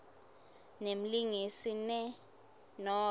nemlingisi ne nobe